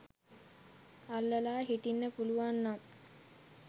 අල්ලලා හිටින්න පුළුවන් නම්